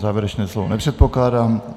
Závěrečné slovo nepředpokládám.